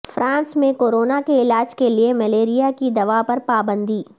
France میں corona کے علاج کے لیے ملیریا کی دوا پر پابندی